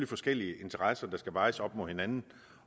forskellige interesser der skal vejes op mod hinanden